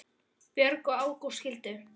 Björg og Ágúst skildu.